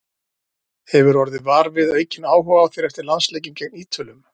Hefurðu orðið var við aukinn áhuga á þér eftir landsleikinn gegn Ítölum?